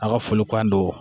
A ka folikan don